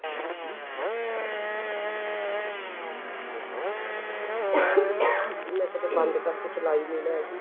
ing ਮੈਂ ਕਦੇ ਬੰਦ ਕਰਕੇ ਚਲਾਈ ਨੀ ਨਾ ਹੈਗੀ